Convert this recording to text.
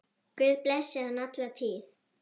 Guð blessi hann alla tíð.